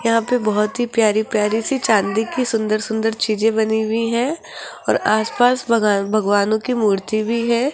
यहां पे बहुत ही प्यारी प्यारी सी चांदी की सुंदर सुंदर चीजें बनी हुई हैं और आस पास भगा भगवानों की मूर्ति भी है।